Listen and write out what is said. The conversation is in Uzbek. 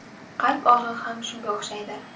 Qalb og‘rig‘i ham shunga o‘xshaydi.